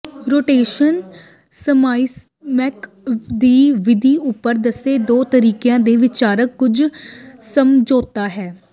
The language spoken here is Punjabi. ਰੋਟੇਸ਼ਨ ਸਮਾਈਮੈਕਸ ਦੀ ਵਿਧੀ ਉੱਪਰ ਦੱਸੇ ਦੋ ਤਰੀਕਿਆਂ ਦੇ ਵਿਚਕਾਰ ਕੁਝ ਸਮਝੌਤਾ ਹੈ